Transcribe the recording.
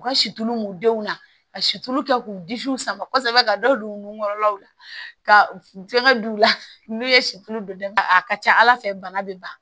U ka situlu denw na ka situlu kɛ k'u disiw sama kosɛbɛ ka da u nun kɔrɔlaw la ka fɛngɛ d'u la n'u ye situlu don dafa a ka ca ala fɛ bana be ban